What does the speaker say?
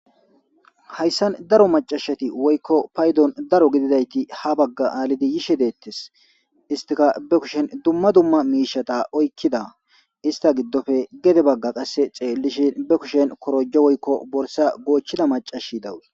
hayssan daro macashati woykko paydon daro gididayti ha bagga aalidi yishe deettes istika be kushen dumma dumma miishata oykkida ista giddofe gede bagga qasse xeellishin be kushen korojo woykko borsa goochchida macashi dawus